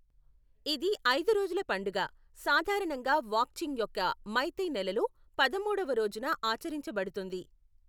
ఇది ఐదు రోజుల పండుగ, సాధారణంగా వాక్చింగ్ యొక్క మైతై నెలలో పదమూడవ రోజున ఆచరించబడుతుంది.